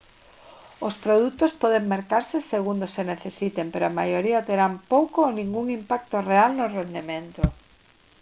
os produtos poden mercarse segundo se necesiten pero a maioría terán pouco ou ningún impacto real no rendemento